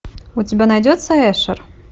у тебя найдется эшер